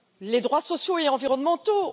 des droits sociaux et environnementaux?